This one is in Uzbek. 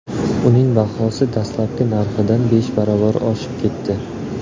Uning bahosi dastlabki narxidan besh barobar oshib ketdi.